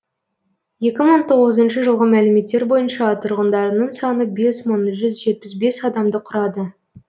екі мың тоғызыншы жылғы мәліметтер бойынша тұрғындарының саны бес мың жүз жетпіс бес адамды құрады